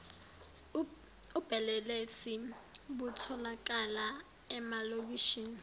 ubelelesi butholakala emalokishini